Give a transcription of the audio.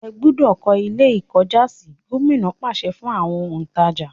ẹ gbúdọ̀ kọ́ Ilé-ìkọ́jàsí! Gómìnà pàṣẹ fún àwọn òǹtàjà.